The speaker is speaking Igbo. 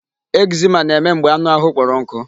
Eczema na-eme mgbe anụ ahụ kpọrọ nkụ.